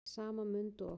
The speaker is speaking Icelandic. Í sama mund og